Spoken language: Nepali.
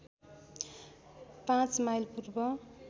५ माइल पूर्व